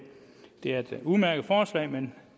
er et udmærket forslag men